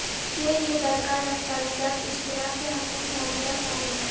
کے لئے درکار دستاویزات اشتراک کے حقوق موجودہ سال میں